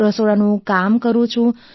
રસોડાનું કામ કરું છું